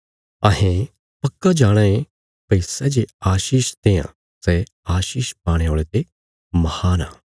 अहें पक्का जाणाँ ये भई सै जे आशीष देआं सै आशीष पाणे औल़े ते महान आ